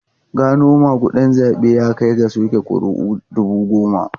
Gano magudin zabe ya kai ga soke kuri'u dubu goma.